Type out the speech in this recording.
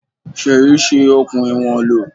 Sèyí ṣi okùn ìwọ̀n lò.